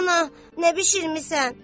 "Ana, nə bişirmisən?